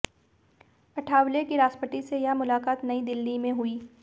अठावले की राष्ट्रपति से यह मुलाकात नयी दिल्ली में हुई